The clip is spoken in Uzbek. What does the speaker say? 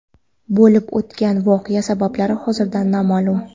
Bo‘lib o‘tgan voqea sabablari hozircha noma’lum.